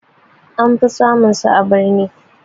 Anfi samun su a birni